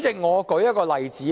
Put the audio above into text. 我舉一個例子。